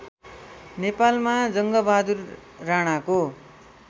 नेपालमा जङ्गबहादुर राणाको